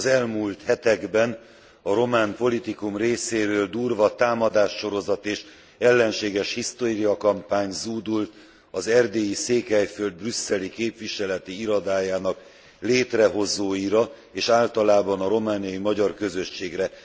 Az elmúlt hetekben a román politikum részéről durva támadássorozat és ellenséges hisztériakampány zúdult az erdélyi Székelyföld brüsszeli képviseleti irodájának létrehozóira, és általában a romániai magyar közösségre.